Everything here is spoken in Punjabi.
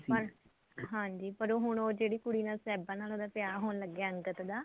ਪਰ ਹਾਂਜੀ ਪਰ ਹੁਣ ਉਹ ਜਿਹੜੀ ਕੁੜੀ ਨਾਲ ਸਾਹਿਬਾ ਨਾਲ ਉਹਦਾ ਵਿਆਹ ਹੋਣ ਲੱਗਾ ਅੰਗਦ ਦਾ